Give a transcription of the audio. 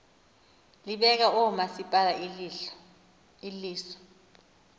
libeka oomasipala iliso